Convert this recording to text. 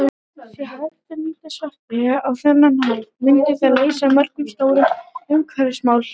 Sé hægt að nýta sveppi á þennan hátt myndi það leysa mörg stór umhverfisvandamál.